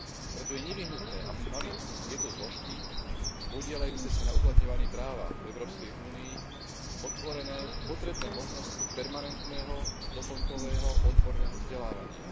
Preto je nevyhnutné, aby mali tieto zložky podieľajúce sa na uplatňovaní práva v Európskej únii otvorené potrebné možnosti permanentného doplnkového odborného vzdelávania.